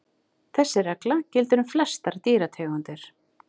Þessi regla gildir um flestar dýrategundir.